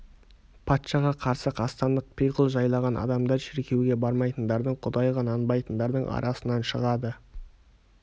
патшаға қарсы қастандық пиғыл жайлаған адамдар шіркеуге бармайтындардың құдайға нанбайтындардың арасынан шығады